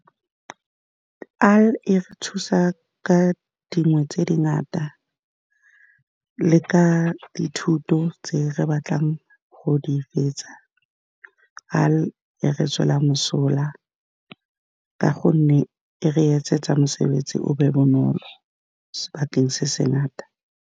E re thusa ka dingwe tse , dingata le ka dithuto tse re batlang go di fetsa e re tswela mosola ka gonne e re etsetsa mosebetsi o be bonolo sebakeng se se ngata.